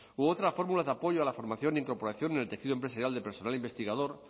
u otra fórmulas de apoyo a la formación incorporación en el tejido empresarial de personal investigador